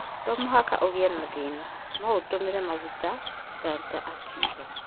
To mũhaka ũgĩe thina noũtũmĩre magũta' Gunter akiuga